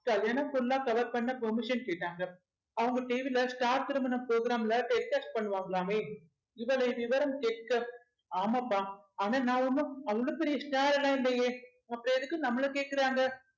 கல்யாணம் full ஆ cover பண்ண permission கேட்டாங்க அவங்க TV ல ஸ்டார் திருமணம் program ல telecast பண்ணுவாங்களாமே இவளை விவரம் கேட்க ஆமாப்பா ஆனா நான் ஒண்ணும் அவ்ளோ பெரிய star எல்லாம் இல்லையே அப்புறம் எதுக்கு நம்மளை கேக்குறாங்க